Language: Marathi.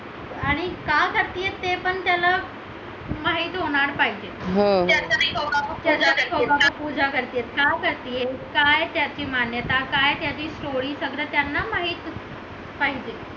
आणि काय करते आहे ते पण त्याला माहित होणार पाहिजे पूजा करते का करते काय त्याची मान्यता आहे काय त्याची story सगळ्यांना माहित पाहिजे